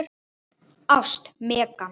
Ást, Megan.